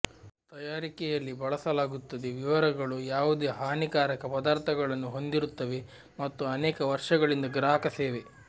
ತಯಾರಿಕೆಯಲ್ಲಿ ಬಳಸಲಾಗುತ್ತದೆ ವಿವರಗಳು ಯಾವುದೇ ಹಾನಿಕಾರಕ ಪದಾರ್ಥಗಳನ್ನು ಹೊಂದಿರುತ್ತವೆ ಮತ್ತು ಅನೇಕ ವರ್ಷಗಳಿಂದ ಗ್ರಾಹಕ ಸೇವೆ